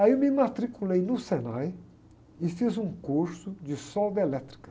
Aí eu me matriculei no Senai e fiz um curso de solda elétrica.